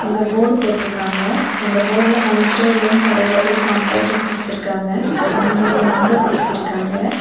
அங்க ஒரு போர்டு போட்றுக்காங்க அந்த போர்ட்ல அமிஸ்டர் ரூம்ஸ் அவைலபிள் காண்டக்டுன்னு குடுத்துருக்காங்க அங்க மூணு நம்பர் குடுத்துருக்காங்க.